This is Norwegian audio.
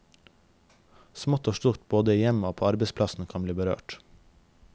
Smått og stort både i hjemmet og på arbeidsplassen kan bli berørt.